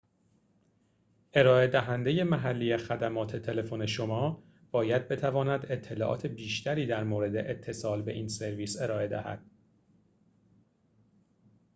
ارائه دهنده محلی خدمات تلفن شما باید بتواند اطلاعات بیشتری در مورد اتصال به این سرویس ارائه دهد